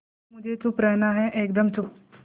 पहले मुझे चुप रहना है एकदम चुप